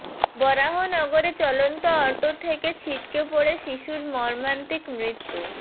বরাহনগরে চলন্ত অটো থেকে ছিটকে পড়ে শিশুর মর্মান্তিক মৃত্যু